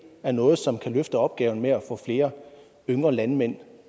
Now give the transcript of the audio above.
er noget som kan løfte opgaven med at få flere yngre landmænd